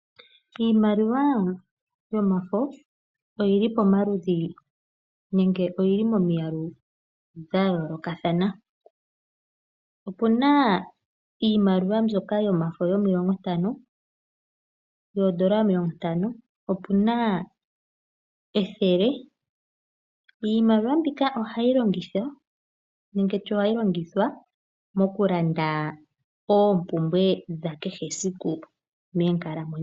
Iimaliwa yomafo oyili pomaludhi nenge oyili momiyalu dha yoolokathana. Opuna iimaliwa yomafo mbyoka yoondola omilongo ntano, opuna ethele. Iimaliwa mbika ohayi longithwa moku landa oopumbwe dha kehe siku moonkalamwenyo dhetu.